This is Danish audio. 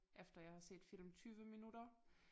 Efter jeg har set film 20 minutter